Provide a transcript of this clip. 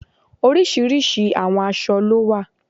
Oríṣiríṣi àwọn aṣọ ló wà